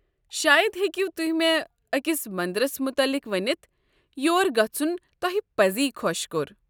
شاید ہٮ۪کِو تُہۍ مےٚ أکس منٛدرس متعلق ؤنِتھ یور گژھُن توہہِ پزی خۄش كو٘ر۔